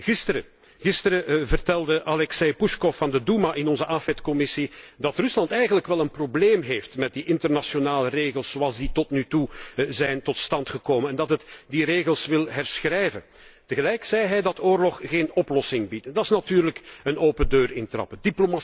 Gisteren vertelde Aleksey Pushkov van de Doema in de Commissie AFET dat Rusland eigenlijk wel een probleem heeft met die internationale regels zoals die tot nu toe tot stand zijn gekomen en dat het die regels wil herschrijven. Tegelijk zei hij dat oorlog geen oplossing biedt. Dat is natuurlijk een open deur intrappen.